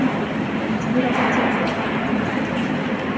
питер ведь вы роботехник